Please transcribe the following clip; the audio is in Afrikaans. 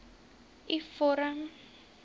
u vorm